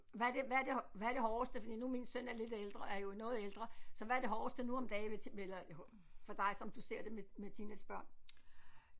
Hvad er det hvad er det hvad er det hårdeste fordi nu min søn er lidt ældre er jo noget ældre så hvad er det hårdeste nu om dage ved til for dig som du ser det med teenagebørn